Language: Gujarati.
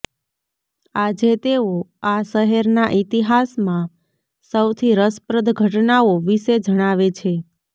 આજે તેઓ આ શહેરના ઇતિહાસમાં સૌથી રસપ્રદ ઘટનાઓ વિશે જણાવે છે